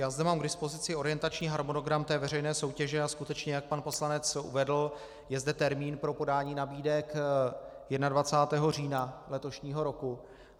Já zde mám k dispozici orientační harmonogram té veřejné soutěže, a skutečně, jak pan poslanec uvedl, je zde termín pro podání nabídek 21. října letošního roku.